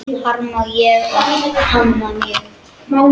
Harma ég hana mjög.